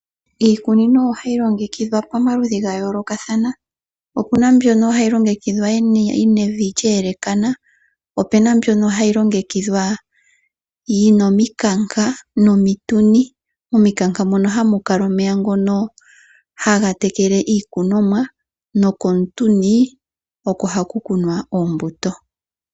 Iikunino ohayi longekidhwa pamaludhi ga yoolokathana, opena mbyoka hayi longekidhwa nevi lya yelekana, opena yimwe mbyoka hayi longekidhwa yina omikanka nomitunti, momikanka mono hamu kala omeya ngoka haga tekele iikuninomwa nokomutunti oko haku kunwa oombuto.